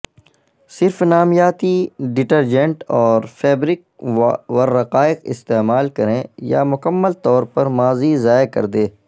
صرف نامیاتی ڈٹرجنٹ اور فیبرک والرقائق استعمال کریں یا مکمل طور پر ماضی ضائع کردے